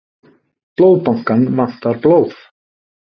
Blóðbankann vantar blóð